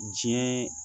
Diɲɛ